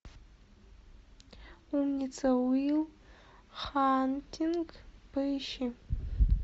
умница уилл хантинг поищи